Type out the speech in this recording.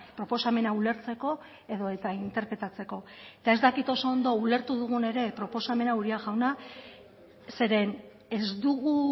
proposamena ulertzeko edota interpretatzeko eta ez dakit oso ondo ulertu dugun ere proposamena uria jauna zeren ez dugu